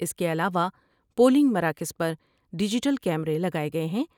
اس کے علاوہ پولنگ مراکز پر ڈیجیٹل کیمرے لگائے گئے ہیں ۔